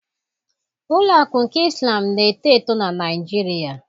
Ụlọ akụ nke Islam na-eto eto na Naịjirịa.